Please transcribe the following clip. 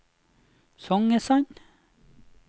Songesand